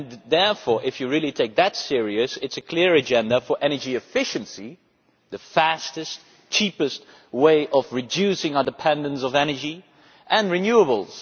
Therefore, if one really takes this seriously, it is a clear agenda for energy efficiency the fastest, cheapest way of reducing our dependence on energy and renewables.